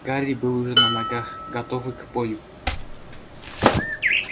гарри был уже на ногах готовый к бою